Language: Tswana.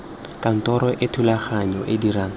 kantoro e thulaganyo e dirang